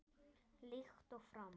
Líkt og fram